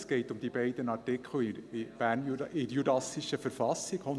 Es geht um diese beiden Artikel 138 und 139 in der jurassischen Verfassung .